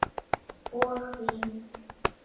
Og vín.